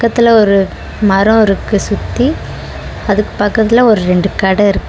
த்துல ஒரு மரோ இருக்கு சுத்தி அதுக் பக்கத்துல ஒரு ரெண்டு கட இருக்கு.